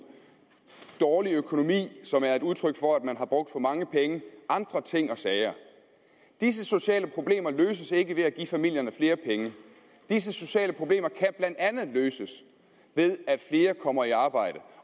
dårlig økonomi som er et udtryk for at man har brugt for mange penge og andre ting og sager disse sociale problemer løses ikke ved at give familierne flere penge disse sociale problemer kan blandt andet løses ved at flere kommer i arbejde